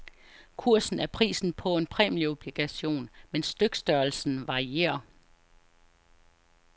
Kursen er prisen på en præmieobligation, men stykstørrelsen varierer.